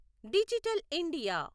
digital India